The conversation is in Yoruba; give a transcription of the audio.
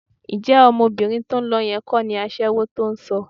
Ǹjẹ́ ọmọbìnrin tó ń lọ yẹn kọ́ ni aṣẹ́wó tó ń sọ?